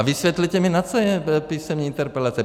A vysvětlete mi, na co jsou písemné interpelace.